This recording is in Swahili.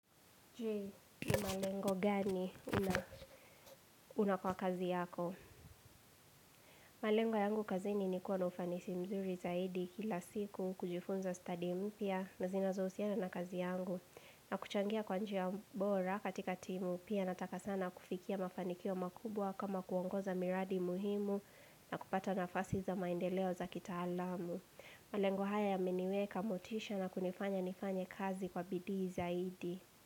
Je, ni malengo gani una kwa kazi yako? Malengo yangu kazini ni kuwa na ufanisi mzuri zaidi kila siku kujifunza studi mpya na zinazo husiana na kazi yangu. Na kuchangia kwanjia bora katika timu, pia nataka sana kufikia mafanikio makubwa kama kuongoza miradi muhimu na kupata nafasi za maendeleo za kita alamu. Malengo haya ya meniweka motisha na kunifanya nifanya kazi kwa bidii zaidi.